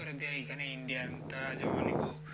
করে দেয় এইখানে indian জমা নিব